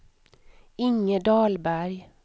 Inge Dahlberg